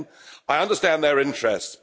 10 I understand their interests.